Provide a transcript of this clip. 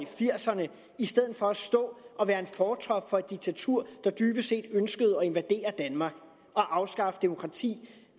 firserne i stedet for at stå og være en fortrop for et diktatur der dybest set ønskede at invadere danmark og afskaffe demokrati